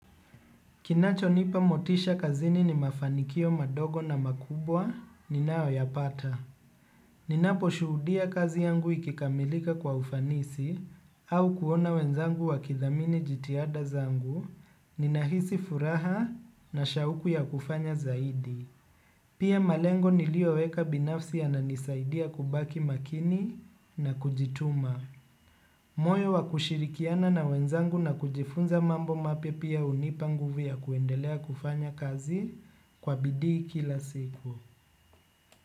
Kinacho nipa motisha kazini ni mafanikio madogo na makubwa ninayo yapata. Ninapo shuhudia kazi yangu ikikamilika kwa ufanisi au kuona wenzangu wa kidhamini jitihada zangu ni nahisi furaha na shauku ya kufanya zaidi. Pia malengo niliyo weka binafsi ya nanisaidia kubaki makini na kujituma. Moyo wa kushirikiana na wenzangu na kujifunza mambo mapya pia hunipa nguvu ya kuendelea kufanya kazi kwa bidii kila siku.